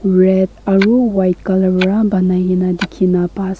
red aru white colour para banaikena dikhina pai ase.